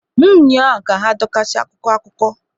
M ụnyahụ ka adọkasị akwụkwọ akụkọ!